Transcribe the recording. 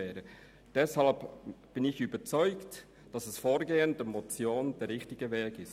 Ich bin deshalb davon überzeugt, dass das mit der Motion geforderte Vorgehen richtig ist.